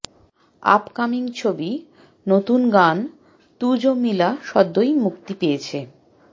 upcoming ছবি নতুন গান তু যো মিলা সদ্যই মুক্তি পেয়েছে